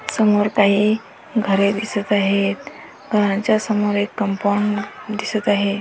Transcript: समोर काही घरे दिसत आहेत घरांच्या समोर एक कंपाऊंड दिसत आहे.